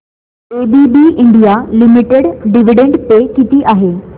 ABB India limited dividend pay किती आहे